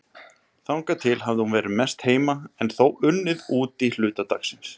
Þangað til hafði hún verið mest heima en þó unnið úti hluta dagsins.